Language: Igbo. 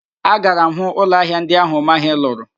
Agara m hụ ụlọ ahịa ndi ahụ Ụmahị lụrụ